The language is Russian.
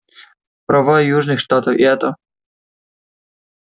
права южных штатов и это